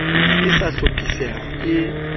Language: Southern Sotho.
ne e sa hlophiseha e